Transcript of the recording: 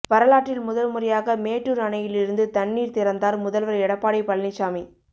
வரலாற்றில் முதல்முறையாக மேட்டூர் அணையிலிருந்து தண்ணீர் திறந்தார் முதல்வர் எடப்பாடி பழனிச்சாமி